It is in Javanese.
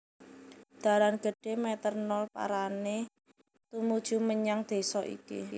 Dalan gedhé Meter nol parané tumuju menyang désa iki